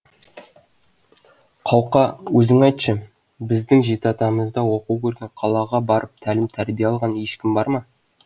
қауқа өзің айтшы біздің жеті атамызда оқу көрген қалаға барып тәлім тәрбие алған ешкім бар ма